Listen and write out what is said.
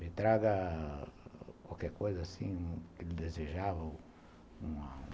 Me traga qualquer coisa que ele desejava, uma